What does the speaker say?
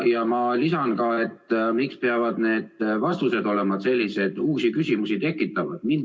Ma lisan ka: miks peavad vastused olema sellised uusi küsimusi tekitavad?